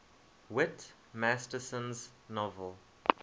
whit masterson's novel